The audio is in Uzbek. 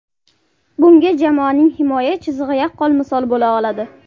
Bunga jamoaning himoya chizig‘i yaqqol misol bo‘la oladi.